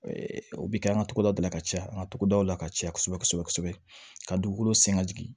O bɛ kɛ an ka togodaw la ka caya an ka togodaw la ka caya kosɛbɛ kosɛbɛ kosɛbɛ ka dugukolo sɛn ka jigin